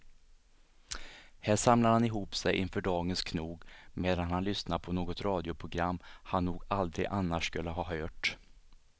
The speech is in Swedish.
Här samlar han ihop sig inför dagens knog medan han lyssnar på något radioprogram han nog aldrig annars skulle ha hört.